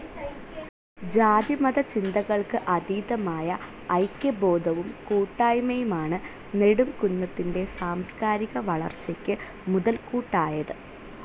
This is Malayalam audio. ജാതിമത ചിന്തകൾക്ക് അതീതമായ ഐക്യബോധവും കൂട്ടായ്മയുമാണ് നെടുംകുന്നത്തിൻ്റെ സാംസ്കാരിക വളർച്ചയ്ക്ക് മുതൽകൂട്ടായത്.